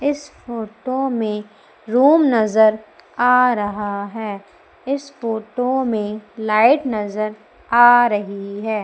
इस फोटो में रूम नजर आ रहा है इस फोटो में लाइट नजर आ रही है।